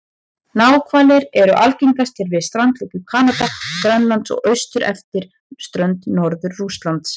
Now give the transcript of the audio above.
Náhvalir eru algengastir við strandlengjur Kanada og Grænlands og austur eftir strönd Norður-Rússlands.